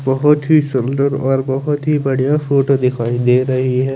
बहोत ही सुंदर और बहोत ही बढ़िया फोटो दिखाई दे रही है।